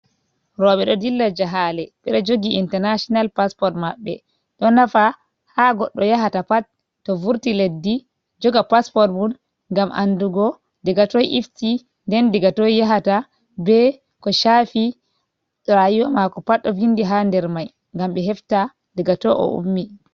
Rooɓe ɓe ɗo dilla jahale ɓe ɗe jogi international passport maɓɓe, ɗo nafa ha goɗɗo yahata pat to vurti leddi joga pasport mun, ngam andugo daga toi ifti nden daga to yahata, be ko chafi rayuwa mako pat ɗo vindi ha nder mai ngam ɓe hefta daga toi o ummini.